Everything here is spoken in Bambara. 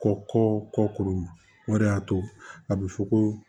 Kɔ kɔ kɔkɔ o de y'a to a bɛ fɔ ko